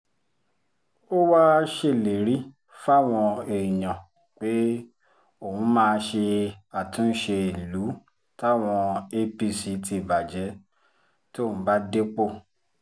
ó wáá ṣèlérí fáwọn èèyàn pé òun máa ṣe àtúnṣe ìlú táwọn apc ti bàjẹ́ tóun bá dépò